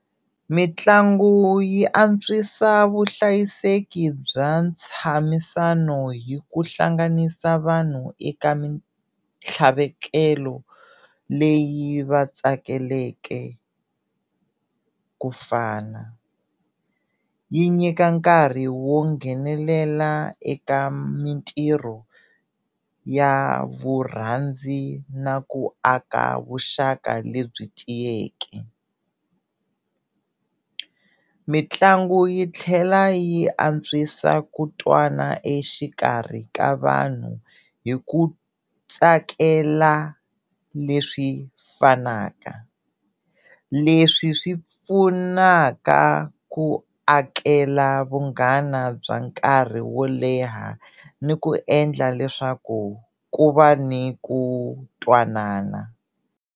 Mitlangu yi antswisa vuhlayiseki bya ntshamisano hi ku hlanganisa vanhu eka mintlhavekelo leyi va tsakeleke ku fana, yi nyika nkarhi wo nghenelela eka mintirho ya vurhandzi na ku aka vuxaka lebyi tiyeke. Mitlangu yi tlhela yi antswisa ku twana exikarhi ka vanhu hi ku tsakela leswi fanaka, leswi swi pfunaka ku akela vunghana bya nkarhi wo leha ni ku endla leswaku ku va ni ku twanana.